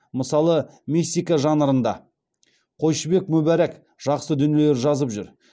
мысалы мистика жанрында қойшыбек мүбәрак жақсы дүниелер жазып жүр